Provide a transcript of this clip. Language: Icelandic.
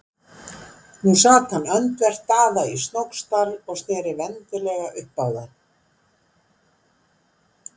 Nú sat hann öndvert Daða í Snóksdal og sneri vendilega upp á það.